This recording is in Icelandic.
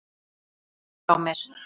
Kysstu afa frá mér.